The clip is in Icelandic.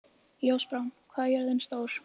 Ljósbrá, hvað er jörðin stór?